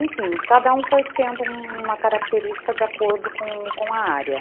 Enfim, cada um foi tendo uma característica de acordo com com a área.